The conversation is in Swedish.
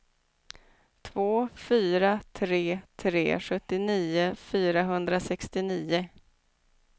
två fyra tre tre sjuttionio fyrahundrasextionio